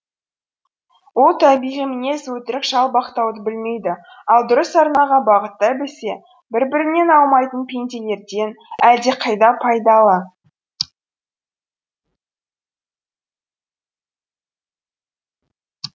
ол табиғи мінез өтірік жалбақтауды білмейді ал дұрыс арнаға бағыттай білсе бір бірінен аумайтын пенделерден әлдеқайда пайдалы